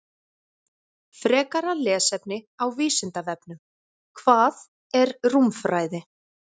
Frekara lesefni á Vísindavefnum: Hvað er rúmfræði?